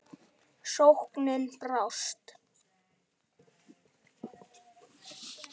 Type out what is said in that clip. Sóknin brást.